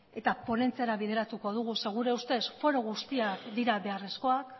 eta ponentziara bideratuko dugu zeren gure ustez foro guztiak dira beharrezkoak